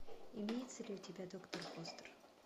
имеется ли у тебя доктор фостер